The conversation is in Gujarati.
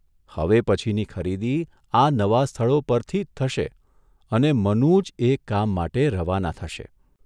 હવે પછીની ખરીદી આ નવાં સ્થળો પરથી જ થશે અને મનુ જ એ કામ માટે રવાના થશે.